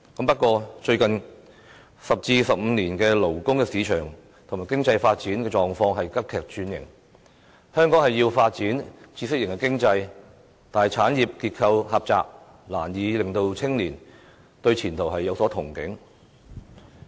不過，香港最近10至15年的勞工市場及經濟發展狀況急劇轉型，香港需要發展知識型經濟，但產業結構狹窄，難以令青年對前途有所憧憬。